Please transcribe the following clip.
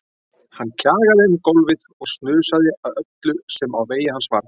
Hann kjagaði um gólfið og snusaði að öllu sem á vegi hans varð.